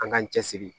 An k'an cɛsiri